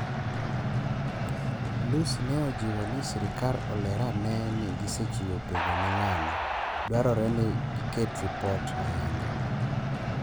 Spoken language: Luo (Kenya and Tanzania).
Lussi ne ojiwo ni serikal oler ane ni gisechiwo penjo ni ng'ano, dwarore ni giket ripot ayanga